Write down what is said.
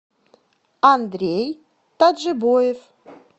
андрей таджибоев